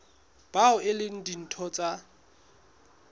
bao e leng ditho tsa